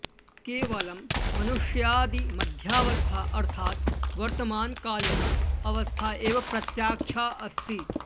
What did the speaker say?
केवलं मनुष्यादि मध्यावस्था अर्थाद् वर्तमानकालिना अवस्था एव प्रत्याक्षा अस्ति